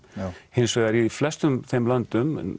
hins vegar í flestum þeim löndum